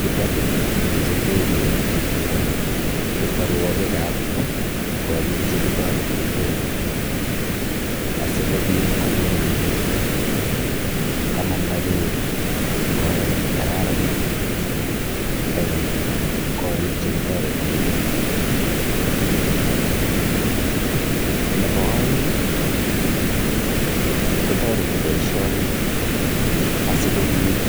Kibole olechute beek eng keterwogikab korik chekitoretegei asigopit koger kole kamanda beek eng oret nekararan en korik che kitoretegei. Nebo aeng kotoreti boisioni asigopit